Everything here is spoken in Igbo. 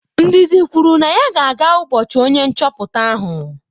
Ndidi kwuru na ya ga-aga ubochi onye nchoputa ahụ.